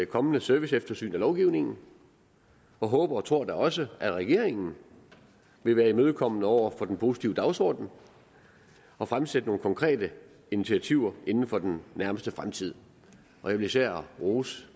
kommende serviceeftersyn af lovgivningen og håber og tror da også at regeringen vil være imødekommende over for den positive dagsorden og fremsætte nogle konkrete initiativer inden for den nærmeste fremtid jeg vil især rose